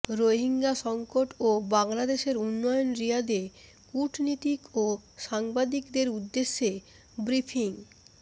রোহিঙ্গা সংকট ও বাংলাদেশের উন্নয়ন রিয়াদে কূটনীতিক ও সাংবাদিকদের উদ্দেশে ব্রিফিং